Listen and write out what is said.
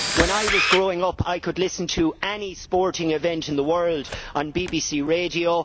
When I was growing up, I could listen to any sporting event in the world on BBC radio.